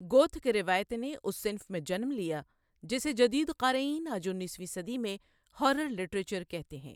Gothic روایت نے اس صنف میں جنم لیا جسے جدید قارئین آج انیسویں صدی میں ہارر لٹریچر کہتے ہیں۔